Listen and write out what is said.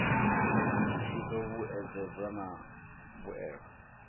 i do vhuedzedzwa na mbuelo